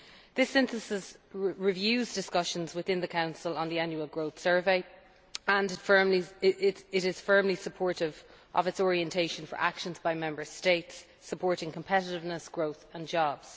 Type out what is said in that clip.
This Synthesis reviews discussions within the Council on the Annual Growth Survey and is firmly supportive of its orientation for actions by Member States supporting competitiveness, growth and jobs.